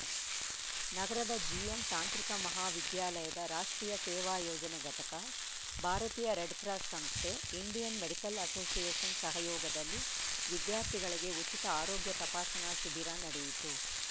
ನಗರದ ಜಿಎಂ ತಾಂತ್ರಿಕ ಮಹಾವಿದ್ಯಾಲಯದ ರಾಷ್ಟ್ರೀಯ ಸೇವಾ ಯೋಜನೆ ಘಟಕ ಭಾರತೀಯ ರೆಡ್‌ ಕ್ರಾಸ್‌ ಸಂಸ್ಥೆ ಇಂಡಿಯನ್‌ ಮೆಡಿಕಲ್‌ ಅಸೋಸಿಯೇಷನ್‌ ಸಹಯೋಗದಲ್ಲಿ ವಿದ್ಯಾರ್ಥಿಗಳಿಗೆ ಉಚಿತ ಆರೋಗ್ಯ ತಪಾಸಣಾ ಶಿಬಿರ ನಡೆಯಿತು